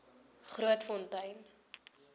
grootfontein